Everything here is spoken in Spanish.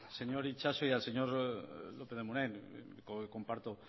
señor itxaso y al señor lópez de munain comparto